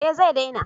Eh zai dena